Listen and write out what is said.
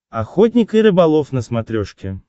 охотник и рыболов на смотрешке